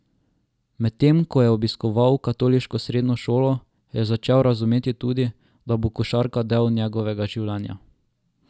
Medtem ko je obiskoval katoliško srednjo šolo, je začel razumeti tudi, da bo košarka del njegovega življenja.